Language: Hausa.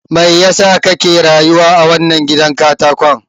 Me yasa kake rayuwa a wannan gidan katakon?